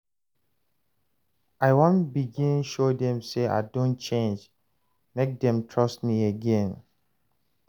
I wan begin show dem sey I don change, make dem trust me again.